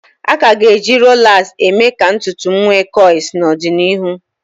A ka ga-eji rolas emee ka ntutu wee kọịls n'ọdịnịhụ